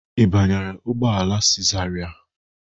Ị banyere ụgbọ ala si zarai?